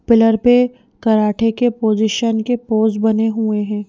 Pillar पे karate के position के पोज बने हुए हैं।